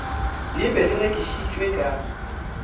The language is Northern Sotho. le be le rekišitšwe ka